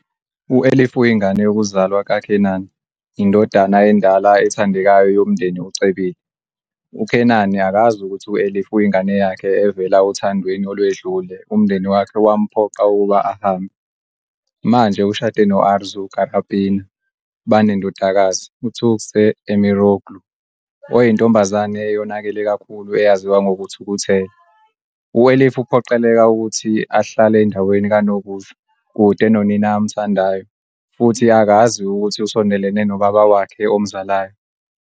U-Elif uyingane yokuzalwa kaKenan, indodana endala ethandekayo yomndeni ocebile. UKenan akazi ukuthi u-Elif uyingane yakhe evela othandweni olwedlule umndeni wakhe wamphoqa ukuba ahambe. Manje ushade no-Arzu Karapınar. Banendodakazi, uTuğçe Emiroğlu, oyintombazane eyonakele kakhulu eyaziwa ngokuthukuthela. U-Elif uphoqeleka ukuthi ahlale endaweni kanokusho, kude nonina amthandayo, futhi akazi ukuthi usondelene nobaba wakhe omzalayo.